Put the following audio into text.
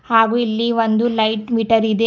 ಹಾಗು ಇಲ್ಲಿ ಒಂದು ಲೈಟ್ ಮೀಟರ್ ಇದೆ.